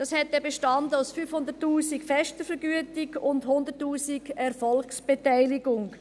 Dies bestand aus 500 000 Franken fester Vergütung und 100 000 Franken Erfolgsbeteiligung.